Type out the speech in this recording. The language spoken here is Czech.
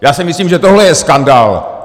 Já si myslím, že tohle je skandál!